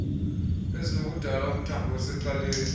ezinokudala umthombo osecaleni